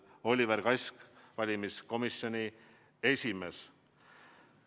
Alla on kirjutanud Oliver Kask, valimiskomisjoni esimees.